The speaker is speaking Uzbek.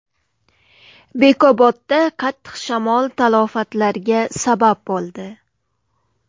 Bekobodda qattiq shamol talafotlarga sabab bo‘ldi.